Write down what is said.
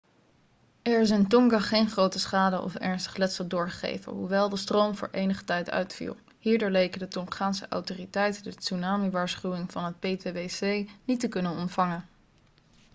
er is in tonga geen grote schade of ernstig letsel doorgegeven hoewel de stroom voor enige tijd uitviel hierdoor leken de tongaanse autoriteiten de tsunami-waarschuwing van het ptwc niet te kunnen ontvangen